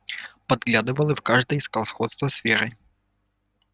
подглядывал и в каждой искал сходство с верой